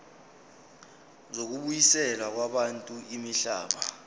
zokubuyiselwa kwabantu imihlaba